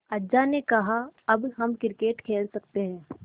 अज्जा ने कहा अब हम क्रिकेट खेल सकते हैं